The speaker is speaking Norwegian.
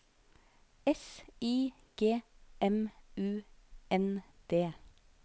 S I G M U N D